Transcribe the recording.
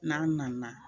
N'a nana